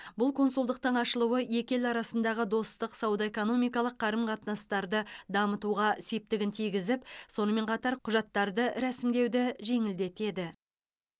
бұл консулдықтың ашылуы екі ел арасындағы достық сауда экономикалық қарым қатынастарды дамытуға септігін тигізіп сонымен қатар құжаттарды рәсімдеуді жеңілдетеді